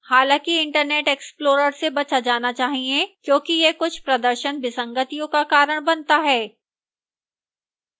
हालांकि internet explorer से बचा जाना चाहिए क्योंकि यह कुछ प्रदर्शन विसंगतियों का कारण बनता है